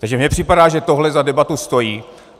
Takže mi připadá, že tohle za debatu stojí.